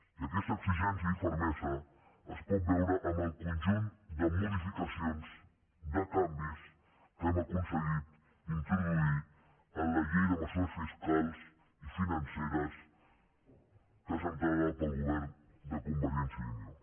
i aquesta exigència i fermesa es pot veure en el conjunt de modificacions de canvis que hem aconseguit introduir en la llei de mesures fiscals i financeres presentada pel govern de convergència i unió